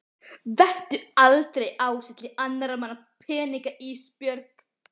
Vertu aldrei ásælin í annarra manna peninga Ísbjörg.